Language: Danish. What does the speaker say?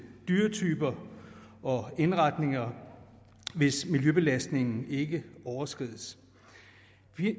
dyretyper og indretninger hvis miljøbelastningen ikke overskrides